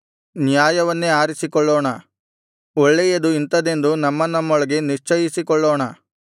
ನ್ಯಾಯವನ್ನೇ ಆರಿಸಿಕೊಳ್ಳೋಣ ಒಳ್ಳೆಯದು ಇಂಥದೆಂದು ನಮ್ಮನಮ್ಮೊಳಗೆ ನಿಶ್ಚಯಿಸಿಕೊಳ್ಳೋಣ